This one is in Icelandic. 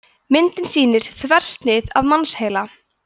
myndin sýnir þversnið af mannsheila